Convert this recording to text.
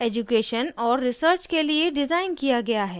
* education और research के लिए डिज़ाइन किया गया है